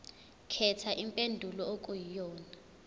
khetha impendulo okuyiyona